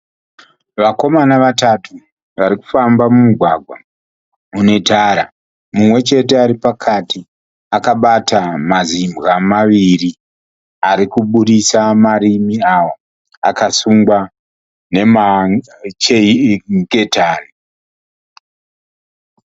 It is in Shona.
Vakomana vatatu vari kufamba mumugwagwa une tara. Mumwe chete ari pakati akabata mazimbwa maviri arikuburisa marimi awo akasungwa nengetani.